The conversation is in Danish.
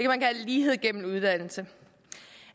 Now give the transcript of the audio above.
man kalde lighed gennem uddannelse